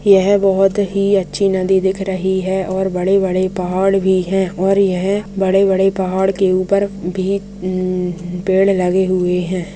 यह बहुत ही अच्छी नदी दिख रही है और बड़े-बड़े पहाड़ भी है और यह बड़े-बड़े पहाड़ के ऊपर भी अं पेड़ लगे हुए हैं।